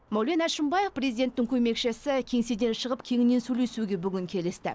мәулен әшімбаев президенттің көмекшісі кеңеседен шығып кеңінен сөйлесуге бүгін келісті